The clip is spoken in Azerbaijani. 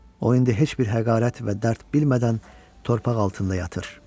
O indi heç bir həqarət və dərd bilmədən torpaq altında yatır.